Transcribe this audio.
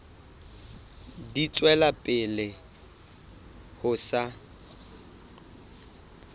di tswela pele ho sa